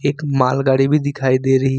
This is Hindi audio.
एक मालगाड़ी भी दिखाई दे रही--